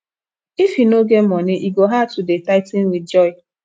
if you no get money e go hard to dey tithing with joy